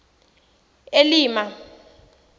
elima